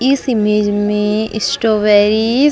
इस इमेज में स्ट्रॉबेर्रेरिस --